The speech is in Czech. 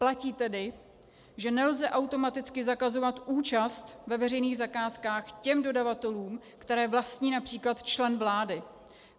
Platí tedy, že nelze automaticky zakazovat účast ve veřejných zakázkách těm dodavatelům, které vlastní například člen vlády.